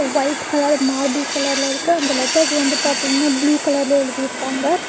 White colour marble கலர்ல இருக்கு அந்த லெட்டர்ஸ் வந்து பாத்தீங்கன்னா ப்ளூ கலர்ல எழுதிருக்காங்க.